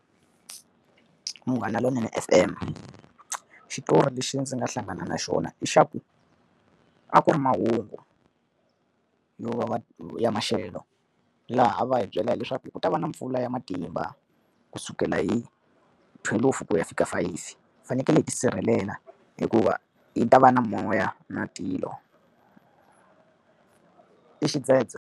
Munghana Lonene F_M. Xitori lexi ndzi nga hlangana na xona i xa ku, a ku ri mahungu yo va ya maxelo. Laha va hi byela hileswaku hi ku ta va na mpfula ya matimba kusukela hi thwelufu ku ya fika fayifi. Hi fanekele hi tisirhelela hikuva yi ta va na moya na tilo i xidzedze.